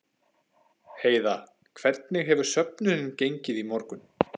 Heiða, hvernig hefur söfnunin gengið í morgun?